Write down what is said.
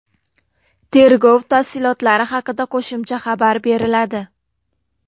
Tergov tafsilotlari haqida qo‘shimcha xabar beriladi.